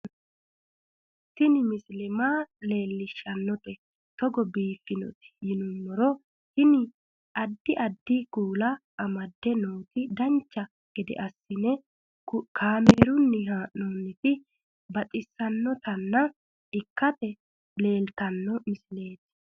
Tini misile maa leellishshannote togo biiffinoti yinummoro tini. addi addi kuula amadde nooti dancha gede assine kaamerunni haa'noonniti baxissannota ikkite leeltanno misileeti